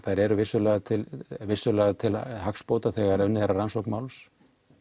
þær eru vissulega til vissulega til hagsbóta þegar unnið er að rannsókn máls